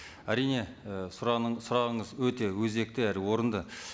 әрине і сұрағыңыз өте өзекті әрі орынды